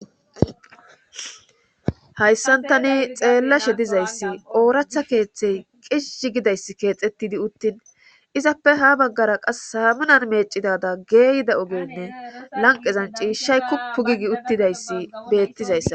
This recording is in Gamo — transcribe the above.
Hayssantani xeellashe dizayssi ooratha keeththey qisizi gidayss keexettidi uttin izappe ha baggara qas hamunan meecidada geeyida ogenne lanqezan ciishshay kuppu giigi uttidayssi beettizayssa.